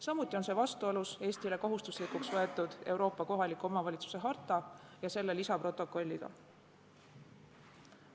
Samuti on see vastuolus Eestile kohustuslikuks täitmiseks võetud Euroopa kohaliku omavalitsuse harta ja selle lisaprotokolliga.